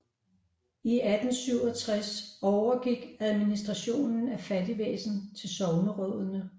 I 1867 overgik administrationen af fattigvæsenet til sognerådene